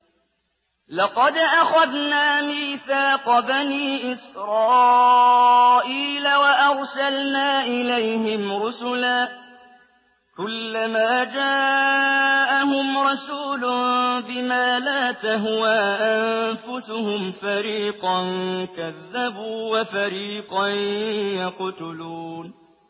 لَقَدْ أَخَذْنَا مِيثَاقَ بَنِي إِسْرَائِيلَ وَأَرْسَلْنَا إِلَيْهِمْ رُسُلًا ۖ كُلَّمَا جَاءَهُمْ رَسُولٌ بِمَا لَا تَهْوَىٰ أَنفُسُهُمْ فَرِيقًا كَذَّبُوا وَفَرِيقًا يَقْتُلُونَ